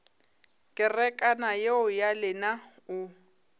kerekana yeo ya lena o